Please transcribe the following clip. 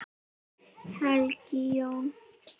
Helga Jóna.